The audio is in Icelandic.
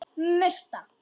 Murta